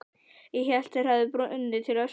Ég hélt þeir hefðu brunnið til ösku.